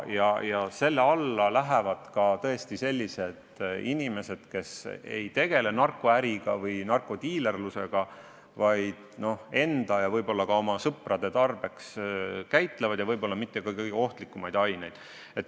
Ja selle paragrahvi alla lähevad ka sellised inimesed, kes ei tegele narkoäriga või narkodiilerlusega, vaid enda ja võib-olla ka oma sõprade tarbeks käitlevad võib-olla mitte kõige ohtlikumaid aineid.